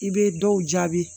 I bɛ dɔw jaabi